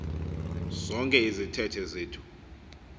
zonke izithethe zethu